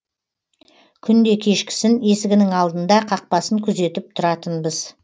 күнде кешкісін есігінің алдында қақпасын күзетіп тұратынбыз